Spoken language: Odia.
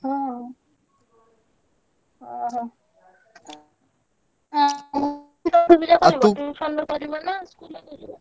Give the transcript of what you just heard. ହଁ, ଓହୋ, ହଁ tuition ରେ କରିବ ନା ଆଉ